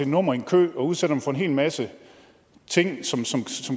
nummer i en kø og udsætter dem for en hel masse ting som